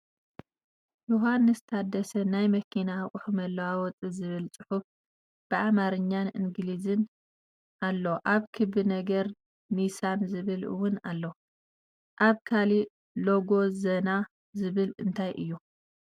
ዮሃንስ ታደሰ ናይ መኪና ኣቁሑ መለዋወጢ ዝብል ፅሑፍ ብኣማርኛን እንግሊዝን ኣሎ ኣብ ክቢ ነገር ኒሳን ዝብል እውን ኣሎ ።ኣብ ካሊእ ሎጎ ዘና ዝብል እንታይ እዩ ?